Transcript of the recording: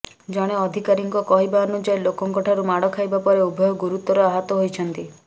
ଜଣେ ଅଧିକାରୀଙ୍କ କହିବାନୁଯାୟୀ ଲୋକଙ୍କଠାରୁ ମାଡ଼ ଖାଇବା ପରେ ଉଭୟ ଗୁରୁତର ଆହତ ହୋଇଛନ୍ତି